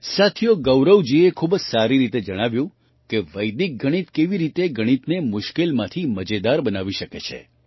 સાથીઓ ગૌરવજીએ ખૂબ જ સારી રીતે જણાવ્યું કે વૈદિક ગણિત કેવી રીતે ગણિતને મુશ્કેલમાંથી મજેદાર બનાવી શકે છે